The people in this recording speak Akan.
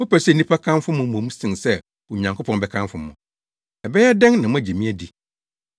Mopɛ sɛ nnipa kamfo mo mmom sen sɛ Onyankopɔn bɛkamfo mo. Ɛbɛyɛ dɛn na moagye me adi?